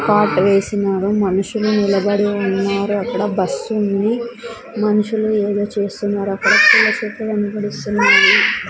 Cot వేసినారు మనుషులు నిలబడి ఉన్నారు అక్కడ బస్సుంది మనుషులు ఏదో చేస్తున్నారు అక్కడ పూల చెట్లు కనబడిస్తున్నాయి.